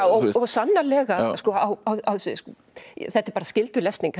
og sannarlega þetta er bara skyldulesning